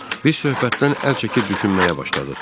Biz söhbətdən əl çəkib düşünməyə başladıq.